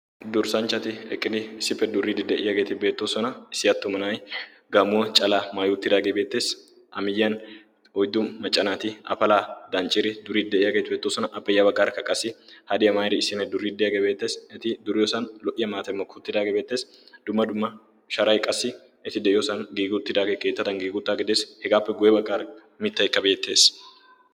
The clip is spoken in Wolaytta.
Durssanchchati eqqidi issippe duriidi de'iyaageeti beettoosona. issi attuma na'ay gaamuwaa cala maayuuttidaageebeetteesi amiyyiyan oiddu maccanaati afalaa dancciri duriidi de'iyaageeti bettoosona appe yaba garkka qassi hadi aamairi issinne duriiddiyaagee beettees. eti duriyoosan lo"iya maatemmo kuuttidaagee beettees. dumma dumma sharai qassi eti de'iyoosan giiguttidaagee keettatan giiguttaa gidees hegaappe guebaggar mittaikka beettees.